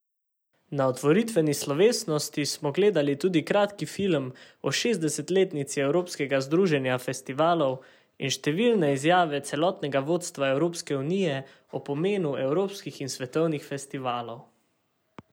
Na otvoritveni slovesnosti smo gledali tudi kratki film o šestdesetletnici Evropskega združenja festivalov in številne izjave celotnega vodstva Evropske unije o pomenu evropskih in svetovnih festivalov.